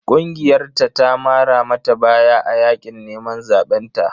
Ƙungiyarta ta mara mata baya a yaƙin neman zaɓen ta.